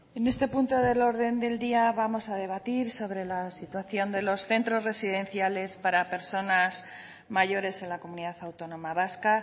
en este punto del orden del día vamos a debatir sobre la situación de los centros residenciales para personas mayores en la comunidad autónoma vasca